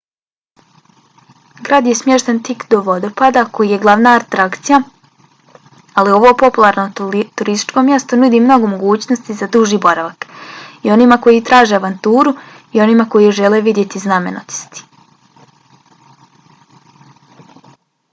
grad je smješten tik do vodopada koji je glavna atrakcija ali ovo popularno turističko mjesto nudi mnogo mogućnosti za duži boravak i onima koji traže avanturu i onima koji žele vidjeti znamenitosti